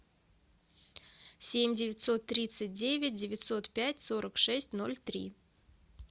семь девятьсот тридцать девять девятьсот пять сорок шесть ноль три